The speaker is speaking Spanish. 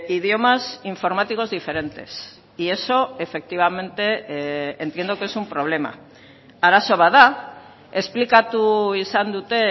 idiomas informáticos diferentes y eso efectivamente entiendo que es un problema arazo bat da esplikatu izan dute